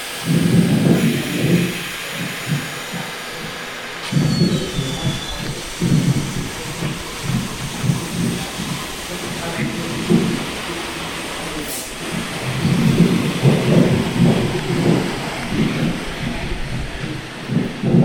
Egangeni sithola izihlahla ezinengi ezilephayo ezinye njalo zilobungozi ungazisebenzisa okuqakathekileyo yikuthi umuntu abekwazi izihlahla ezigcwele egangeni okokuthi ziyelapha wuphi umkhuhlane emzimbeni.